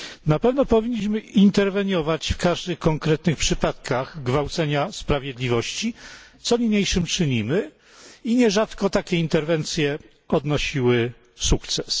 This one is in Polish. Na pewno powinniśmy interweniować w każdych konkretnych przypadkach gwałcenia sprawiedliwości, co niniejszym czynimy. Takie interwencje nierzadko odnosiły sukces.